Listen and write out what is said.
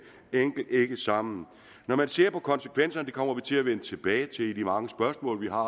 enkelt ikke sammen når man ser på konsekvenserne og det kommer vi til at vende tilbage til i de mange spørgsmål vi har